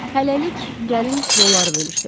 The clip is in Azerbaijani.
Hələlik gəlin rolları bölüşdürək.